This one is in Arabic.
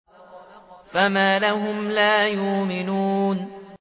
فَمَا لَهُمْ لَا يُؤْمِنُونَ